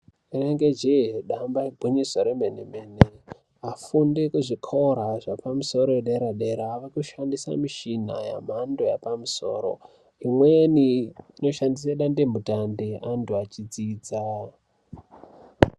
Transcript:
Rinenge jee, damba igwinyiso remene-mene, afundi ekuzvikora zvapamusoro edera-dera vakushandisa mishina yemhando yapamusoro. Imweni inoshandisa dandemutande antu achidzidza.